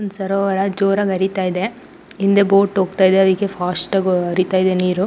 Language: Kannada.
ಒಂದು ಸರೋವರ ಜೋರಾಗಿ ಹರಿತಾ ಇದೆ. ಹಿಂದೆ ಬೋಟ್ ಹೋಗ್ತಾ ಇದೆ ಅದಕ್ಕೆ ಫಾಸ್ಟ್ ಆಗಿ ಹರೀತಾ ಇದೆ ನೀರು.